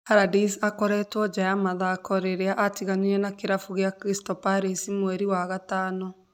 Allardyce akoretwe nja ya mathako rĩrĩa atiganĩire na kĩrabu kĩa Crstal Palace mweri wa gatano.